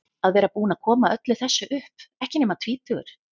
Að vera búinn að koma öllu þessu upp, ekki nema tvítugur.